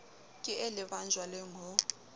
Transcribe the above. ke e lebang jwaleng ho